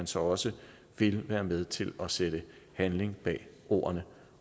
så også vil være med til at sætte handling bag ordene